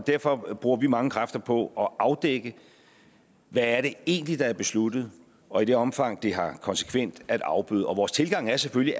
derfor bruger vi mange kræfter på at afdække hvad det egentlig er der er besluttet og i det omfang det har konsekvenser at afbøde vores tilgang er selvfølgelig